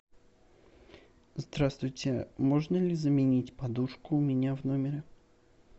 здравствуйте можно ли заменить подушку у меня в номере